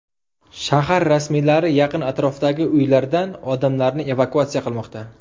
Shahar rasmiylari yaqin atrofdagi uylardan odamlarni evakuatsiya qilmoqda.